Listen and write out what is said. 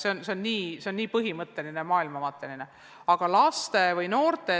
Eks see on väga põhimõtteline, lausa maailmavaateline küsimus.